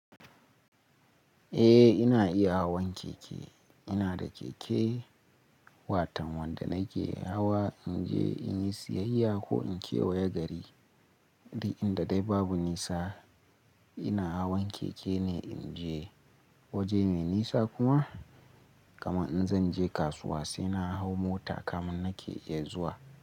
Eh ina iya hawan keke. Ina da keke, watan wanda nake hawa in je in yi siyayya ko in kewaya gari. Inda dai babu nisa ina hawan keke ne in je waje mai nisa kuma. Kaman in zan je kasuwa sai na hau mota kamun nake iya zuwa.